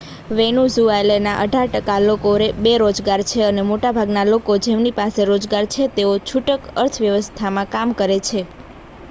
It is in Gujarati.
વેનેઝુએલાના અઢાર ટકા લોકો બેરોજગાર છે અને મોટાભાગના લોકો જેમની પાસે રોજગાર છે તેઓ છૂટક અર્થવ્યવસ્થામાં કામ કરે છે